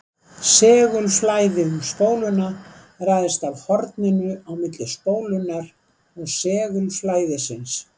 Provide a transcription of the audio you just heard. segulflæði um spóluna ræðst af horninu á milli spólunnar og segulflæðisins